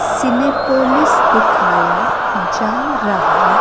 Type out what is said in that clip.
सीने पोलिस दिखाया जा रहा--